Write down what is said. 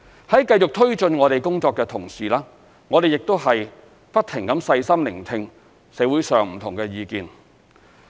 在繼續推進我們工作的同時，我們亦不停細心聆聽社會上不同的意見。